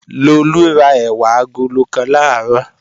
Lolú ra ẹ̀wà agolo kan làárọ̀